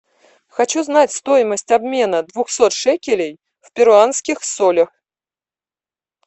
хочу знать стоимость обмена двухсот шекелей в перуанских солях